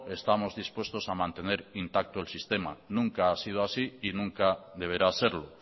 estamos dispuestos a mantener intacto el sistema nunca ha sido así y nunca deberá serlo